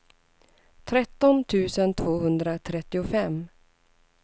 tretton tusen tvåhundratrettiofem